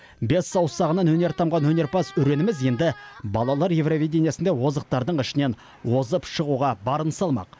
бес саусағынан өнер тамған өнерпаз өреніміз енді балалар еуровидениесінде озықтардың ішінен озып шығуға барын салмақ